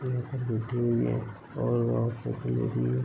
ये यहा पर बैठी हुई है और वह सेल्फी ले रही है।